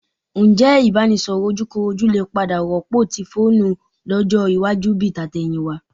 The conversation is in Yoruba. Ǹjẹ́ ìbánisọ̀rọ̀ ojúkorojú lè padà rọ́pò ti fóònù lọ́jọ́ iwájú bi tàtẹ̀yìnwá?